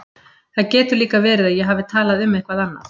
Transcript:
Það getur líka verið að ég hafi talað um eitthvað annað.